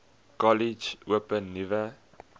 kollege open nuwe